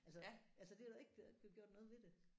Altså altså det er der jo ikke blevet gjort noget ved det